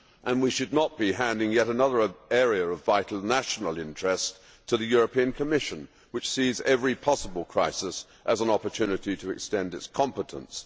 And we should not be handing yet another area of vital national interest to the European Commission, which sees every possible crisis as an opportunity to extend its competence.